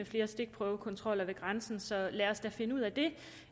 flere stikprøvekontroller ved grænsen så lad os da finde ud af det